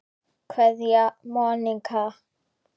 Kveðja, Monika.